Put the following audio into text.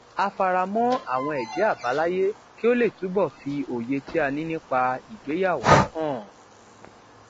a fara mọ àwọn èjé àbáláyé kí ó lè túbò fi òye tí a ní nípa ìgbéyàwó hàn